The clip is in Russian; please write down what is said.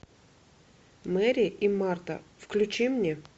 мэри и марта включи мне